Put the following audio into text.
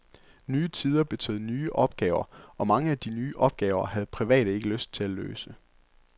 Nye tider betød nye opgaver, og mange af de nye opgaver havde private ikke lyst til at løse.